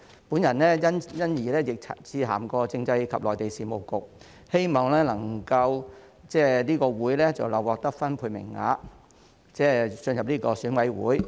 我亦曾因此致函政制及內地事務局，希望這個總會能夠獲分配名額進入選委會。